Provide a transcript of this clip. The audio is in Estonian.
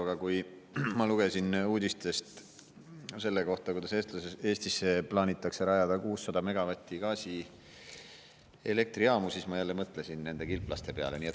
Aga kui ma lugesin uudistest selle kohta, et Eestisse plaanitakse rajada 600 megavati gaasielektrijaamu, siis ma jälle mõtlesin kilplaste peale.